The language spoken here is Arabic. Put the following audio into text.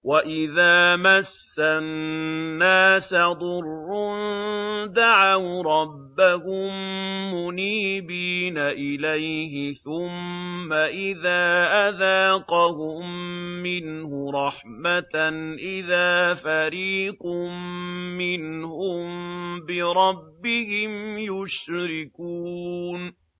وَإِذَا مَسَّ النَّاسَ ضُرٌّ دَعَوْا رَبَّهُم مُّنِيبِينَ إِلَيْهِ ثُمَّ إِذَا أَذَاقَهُم مِّنْهُ رَحْمَةً إِذَا فَرِيقٌ مِّنْهُم بِرَبِّهِمْ يُشْرِكُونَ